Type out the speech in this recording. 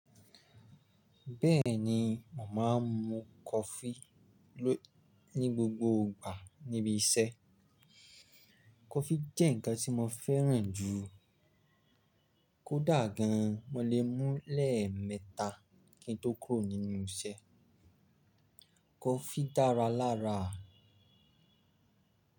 Bẹ́ẹ̀ni, mo máa ń mu coffee ní gbogbo ìgbà níbi iṣẹ́. Coffee jẹ́ ǹkan tí mo fẹ́ràn jù. Kódà gan, mo lè mú lẹ́ẹ̀mẹta kí n tó kúrò nínú iṣẹ́. Coffee dára lára.